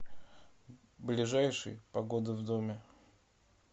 ближайший погода в доме